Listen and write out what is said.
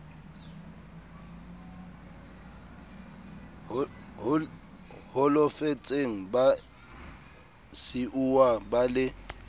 holofetseng ba siuwa ba le